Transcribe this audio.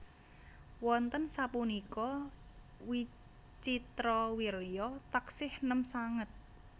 Wonten sapunika Wicitrawirya taksih nem sanget